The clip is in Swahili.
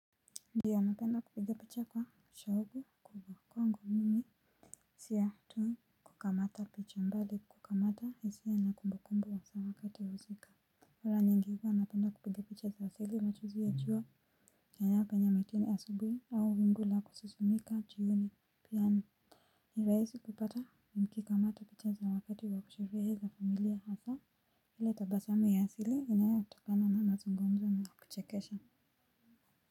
Ndio napenda kupiga picha kwa shauku kubwa kwangu mimi. Sio tu kukamata picha bali kukamata hisia na kumbukumbu wa usawa wakati wa husika mara nyingi huwa napenda kupiga picha za asili machozi ya jua yanayopenya mitini asubuhi au wingu la kusisimika jioni pia ni ni rahisi kupata nikikamata picha za wakati wa sherehe za familia hasa ile tabasamu ya asili inayotokana na mazungumzo wa kuchekesha.